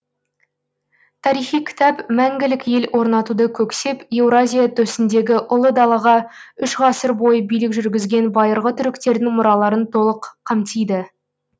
тарихи кітап мәңгілік ел орнатуды көксеп еуразия төсіндегі ұлы далаға үш ғасыр бойы билік жүргізген байырғы түріктердің мұраларын толық қамтиды